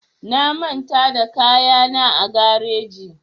Na manta da kayana a gareji